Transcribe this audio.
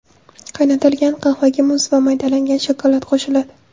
Qaynatilgan qahvaga muz va maydalangan shokolad qo‘shiladi.